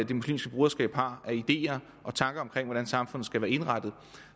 det muslimske broderskab har af ideer og tanker om hvordan samfundet skal være indrettet